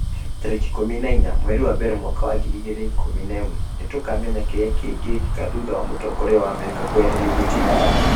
tarĩki ikũmi na inya mweri wa mbere mwaka wa ngiri igĩrĩ na ikũmi na ĩmweKũmenya kĩrĩa gĩkĩkaga thutha wa mũtongoria wa Amerika kũeherio gĩtĩ-inĩ